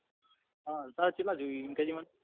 હ તાર કેટલા જોવે એમ કે જે મન? હ તાર કેટલા જોવે એમ કે જે મન?